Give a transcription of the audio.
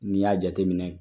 N'i y'a jateminɛ